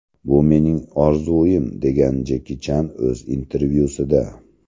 Bu mening orzuim” degan Jeki Chan o‘z intervyusida.